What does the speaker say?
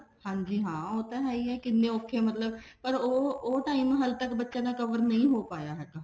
ਹਾਂਜੀ ਹਾਂ ਉਹ ਤਾਂ ਹੈ ਹੀ ਹੈ ਕਿੰਨੇ ਔਖੇ ਮਤਲਬ ਪਰ ਉਹ ਉਹ time ਹਲੇ ਤੱਕ ਬੱਚਿਆਂ ਦਾ cover ਨਹੀਂ ਹੋ ਪਾਇਆ ਹੈਗਾ